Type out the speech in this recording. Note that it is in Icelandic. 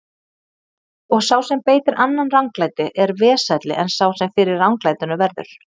Og sá sem beitir annan ranglæti er vesælli en sá sem fyrir ranglætinu verður.